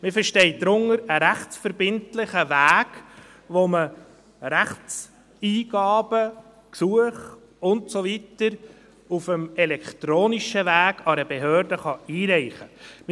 – Man versteht darunter einen rechtsverbindlichen Weg, auf dem man Rechtseingaben, Gesuche und so weiter auf dem elektronischen Weg an eine Behörde einreichen kann.